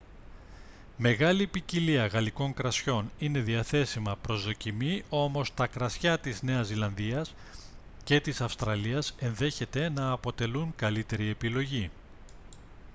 μεγάλη ποικιλία γαλλικών κρασιών είναι διαθέσιμα προς δοκιμή όμως τα κρασιά της νέας ζηλανδίας και της αυστραλίας ενδέχεται να αποτελούν καλύτερη επιλογή